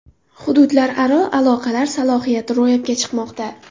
Hududlararo aloqalar salohiyati ro‘yobga chiqmoqda.